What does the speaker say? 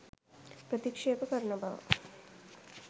ප්‍රතික්ෂේප කරන බව